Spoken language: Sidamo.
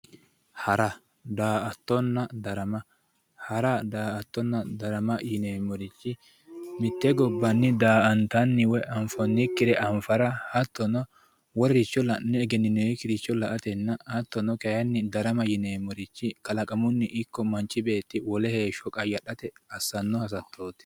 hara daa'attonna darama hara daa'attonna darama yineemmorichi mitte gobbanni daa'antanni woyi anfoonnikkire anfara hattono wolericho la'ne egenninoonnkkiricho la'atenna hattono kayinni darama yineemmorichi kalaqamunni ikko manchi beetti wole heeshsho qayyadhate assanno hasattooti